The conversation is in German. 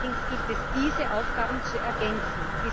Allerdings gilt es, diese Aufgaben zu ergänzen.